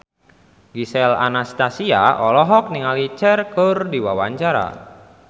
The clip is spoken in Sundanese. Gisel Anastasia olohok ningali Cher keur diwawancara